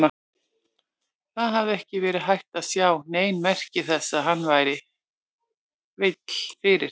Það hafði ekki verið hægt að sjá nein merki þess að hann væri veill fyrir.